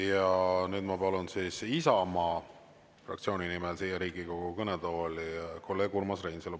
Ja nüüd ma palun Isamaa fraktsiooni nimel siia Riigikogu kõnetooli kolleeg Urmas Reinsalu.